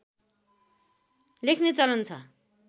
लेख्ने चलन छ